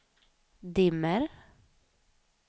dimmer